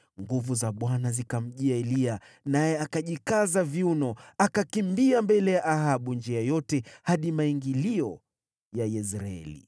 Nguvu za Bwana zikamjia Eliya, naye akajikaza viuno, akakimbia mbele ya Ahabu njia yote hadi maingilio ya Yezreeli.